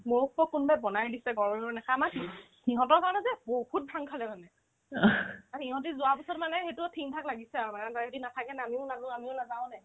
মোকতো কোনোবাই বনাই দিছে ঘৰৰে নাখাই আমাৰ কি সিহঁতৰ ঘৰতে যে বহুত ভাং থাকে মানে সিহঁতে যোৱাৰ পিছত মানে সেইটো থিকথাক লাগিছে আৰু মানে সিহঁতে যদি নাথাকে না